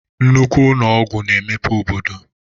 Nnukwu ụnọ ọgwụ na-emepe obodo.